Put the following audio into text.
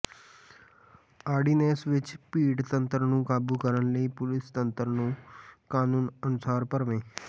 ordinance ਵਿੱਚ ਭੀੜਤੰਤਰ ਨੂੰ ਕਾਬੂ ਕਰਨ ਲਈ ਪੁਲਸ ਤੰਤਰ ਨੂੰ ਕਾਨੂੰਨ ਅਨੁਸਾਰ ਭਰਵੇਂ